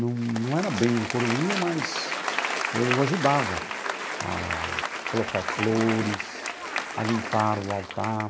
Não não era bem um coroinha, mas eu ajudava a colocar flores, a limpar o altar.